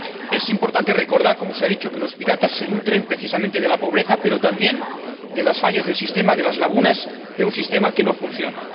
Es importante recordar —como se ha dicho— que los piratas se nutren, precisamente, de la pobreza, pero también de las fallas del sistema y de las lagunas de un sistema que no funciona.